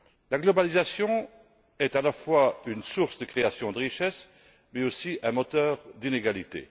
La mondialisation est à la fois une source de création de richesses et un moteur d'inégalité.